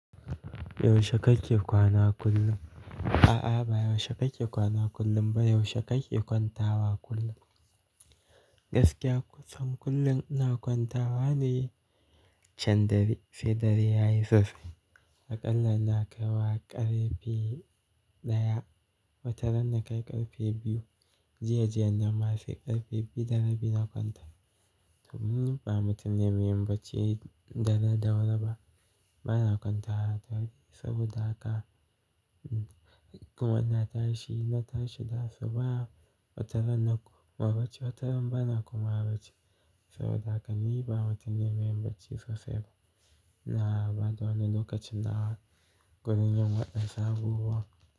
Yaushe kake kwana kullum? A'a, ba yaushe kake kwana kullum ba, yaushe kake kwantawa kullum? Gaskiya kusan kullum ina kwantawa, ne can dare sai dare yayi sosai. Akalla ina kaiwa ƙarfe ɗaya, wataran na kai ƙarfe biyu. Jiya jiyan nan ma sai ƙarfe biyu da rabi na kwanta. Domin ni ba mutum ne mai yin bacci dare da wuri ba. Ba na kwantawa da wuri, saboda haka kuma ina tashi, na tashi da asuba. Wataran na koma bacci, wataran ba na komawa bacci. Saboda haka ni ba mutum ne mai yin bacci sosai ba. iNa bada wannan lokacin nawa gurin yin wasu abubuwan.